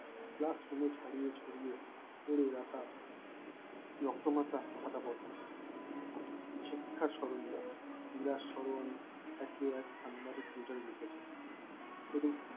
Classroom এ ছাড়িয়ে ছড়িয়ে পড়ে রাখা রক্তমাখা খাতা পত্র শিক্ষার সরঞ্জাম নিরাজ স্মরণ একে একে এক সাংবাদিক twitter এ লিখেছেন